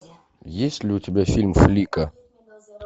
есть ли у тебя фильм флика